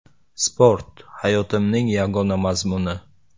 “Sport hayotimning yagona mazmuni.